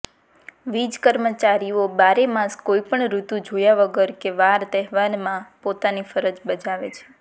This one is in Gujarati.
વીજ કર્મચારીઓ બારેમાસ કોઈપણ ઋતુ જોયા વગર કે વાર તહેવારમાં પોતાની ફરજ બજાવે છે